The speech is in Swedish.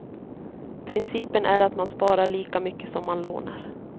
Principen är att man sparar lika mycket som man lånar.